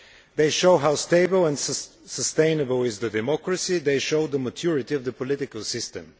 They show how stable and sustainable the democracy is and they show the maturity of the political system.